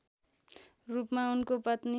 रूपमा उनको पत्नी